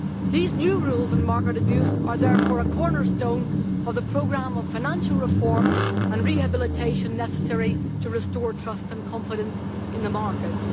These new rules on market abuse are therefore a cornerstone of the programme of financial reform and rehabilitation necessary to restore trust and confidence in the markets.